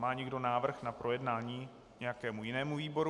Má někdo návrh na projednání nějakému jinému výboru?